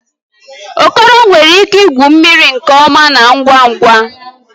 Okoro nwere ike igwu mmiri nke ọma na ngwa ngwa